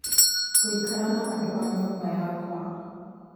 Ngũikara na andũ a nyumba yakwa